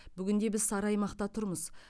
бүгінде біз сары аймақта тұрмыз